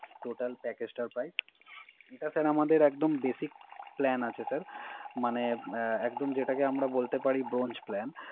Total Package টার Price এটা sir আমাদের একদম Basic plan আছে স্যার মানে একদম যেটাকে আমরাবলতে পারি Bronch plan total package টার Prize